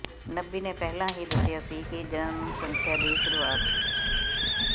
ਨਬੀ ਨੇ ਪਹਿਲਾਂ ਹੀ ਦੱਸਿਆ ਸੀ ਕਿ ਜਨਸੰਖਿਆ ਦੀ ਸ਼ੁਰੂਆਤ